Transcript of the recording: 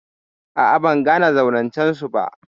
A'a, ban gane zaurancen su ba.